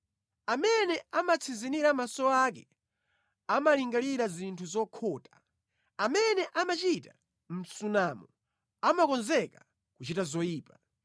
Amene amatsinzinira maso ake amalingalira zinthu zokhota; amene amachita msunamo amakonzeka kuchita zoyipa.